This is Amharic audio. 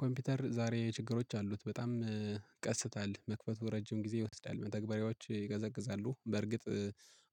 ኮምፒውተር ዛሬ ችግሮች አሉት በጣም ቀስታል መክፈቱ ረጅም ጊዜ ይወስዳል። መተግበሪያዎች ይቀዘቅዛሉ በርግጥ